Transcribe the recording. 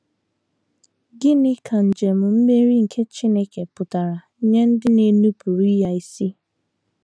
Gịnị ka njem mmeri nke Chineke pụtara nye ndị na - enupụrụ ya isi?